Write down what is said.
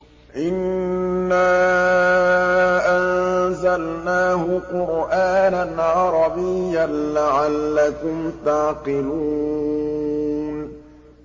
إِنَّا أَنزَلْنَاهُ قُرْآنًا عَرَبِيًّا لَّعَلَّكُمْ تَعْقِلُونَ